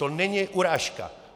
To není urážka.